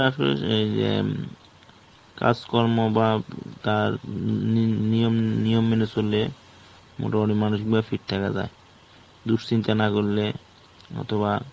আমরা জানি যে এই যে কাজকর্ম বা তার নিয়ম নিয়ম মেনে চললে মোটামুটি মানুষগুলো fit থাকা যায়. দুশ্চিন্তা না করলে অথবা